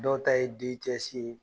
Dɔw ta ye i ye